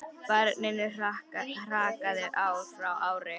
Barninu hrakaði ár frá ári.